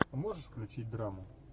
можешь включить драму